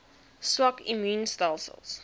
swak immuun stelsels